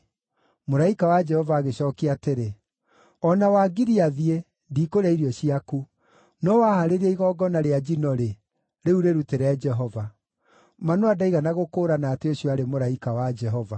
Mũraika wa Jehova agĩcookia atĩrĩ, “O na wangiria thiĩ, ndikũrĩa irio ciaku. No wahaarĩria igongona rĩa njino-rĩ, rĩu rĩrutĩre Jehova.” (Manoa ndaigana gũkũũrana atĩ ũcio aarĩ mũraika wa Jehova.)